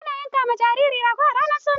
Ana yanka ma jariri rago ranar suna.